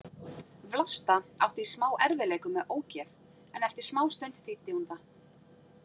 Vlasta átti í smá erfiðleikum með ógeð en eftir smástund þýddi hún það.